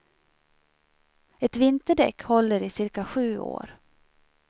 Ett vinterdäck håller i cirka sju år.